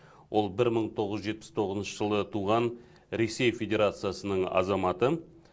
ол бір мың тоғыз жүз жетпіс тоғызыншы жылы туған ресей федерациясының азаматы